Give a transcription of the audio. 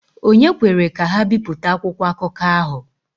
Ònye kwere ka ha bipụta akwụkwọ akụkọ ahụ?